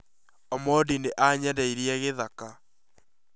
Omondi nĩ aanjenderie gĩthaka